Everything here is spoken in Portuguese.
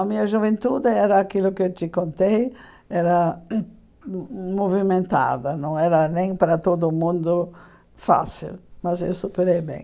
A minha juventude era aquilo que eu te contei, era movimentada, não era nem para todo mundo fácil, mas eu superei bem.